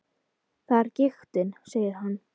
Það er giktin, segir hann.